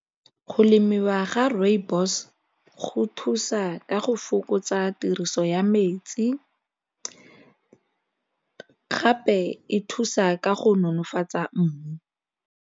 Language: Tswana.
Go lemiwa ga rooibos go thusa ka go fokotsa tiriso ya metsi gape e thusa ka go nonofatsa mmu.